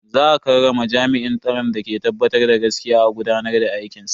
Za a karrama jami'in tsaron da ke tabbatar da gaskiya a gudanar da aikinsa.